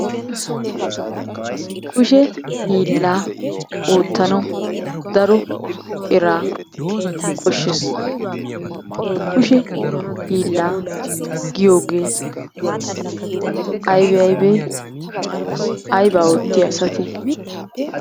Kushe hiillaa oottanawu daro eraa koshshees. Kushe hiillaa giyogee aybee aybee? Aybaa oottiya asatee?